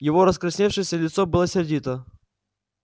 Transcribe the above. его раскрасневшееся лицо было сердито